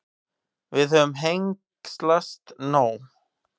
Við höfum hengslast nóg.